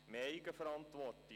«Mehr Eigenverantwortung: